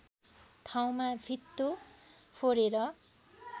ठाउँमा भित्तो फोरेर